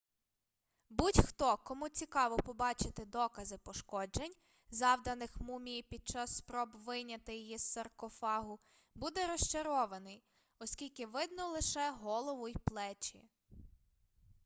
будь-хто кому цікаво побачити докази пошкоджень завданих мумії під час спроб вийняти її з саркофагу буде розчарований оскільки видно лише голову й плечі